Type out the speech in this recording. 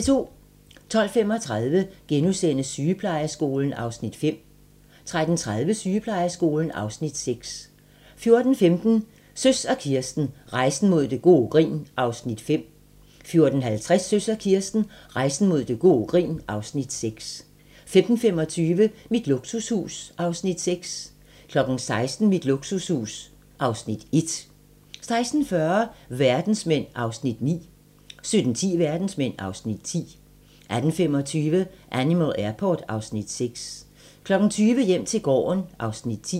12:35: Sygeplejeskolen (Afs. 5)* 13:30: Sygeplejeskolen (Afs. 6) 14:15: Søs og Kirsten - Rejsen mod gode grin (Afs. 5) 14:50: Søs og Kirsten - Rejsen mod gode grin (Afs. 6) 15:25: Mit luksushus (Afs. 6) 16:00: Mit luksushus (Afs. 1) 16:40: Verdensmænd (Afs. 9) 17:10: Verdensmænd (Afs. 10) 18:25: Animal Airport (Afs. 6) 20:00: Hjem til gården (Afs. 10)